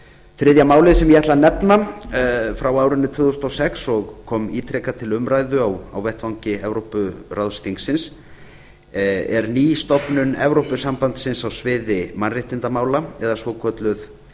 þriðja málið sem ég ætla að nefna frá árinu tvö þúsund og sex og kom ítrekað til umræðu á vettvangi evrópuráðsþingsins er ný stofnun evrópusambandsins á sviði mannréttindamála eða svokölluð stofnun